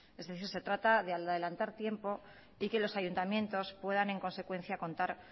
es decir se trata de adelantar tiempo y que los ayuntamientos puedan en consecuencia contar